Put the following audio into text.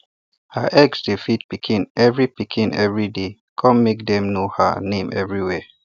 her eggs dey feed pikin every pikin every day come make dem know her name everywhere